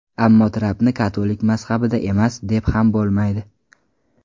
Ammo Trampni katolik mazhabida emas, deb ham bo‘lmaydi.